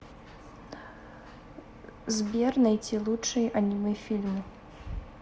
сбер найти лучшие аниме фильмы